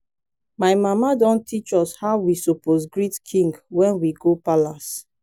my mama don teach us how we suppose greet king when we go palace